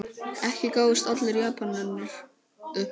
Ekki gáfust allir Japanir upp.